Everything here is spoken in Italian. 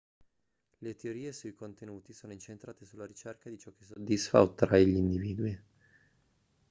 le teorie sui contenuti sono incentrate sulla ricerca di ciò che soddisfa o attrae gli individui